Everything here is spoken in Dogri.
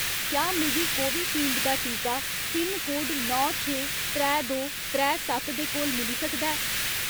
क्या मिगी कोविशील्ड दा टीका पिनकोड नौ छे त्रै दो त्रै सत्त दे कोल मिली सकदा ऐ ?